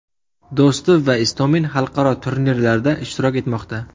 Do‘stov va Istomin xalqaro turnirlarda ishtirok etmoqda.